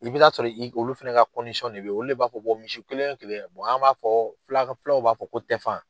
I bɛ t'a sɔrɔ i olu fana ka de bɛ olu le b'a fɔ ko misi kelen o kelen an b'a fɔ fulaw b'a fɔ ko tɛfan.